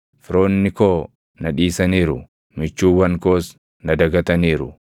Firoonni koo na dhiisaniiru; michuuwwan koos na dagataniiru.